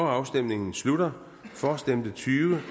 afstemningen slutter for stemte tyve